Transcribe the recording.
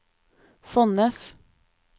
Fonnes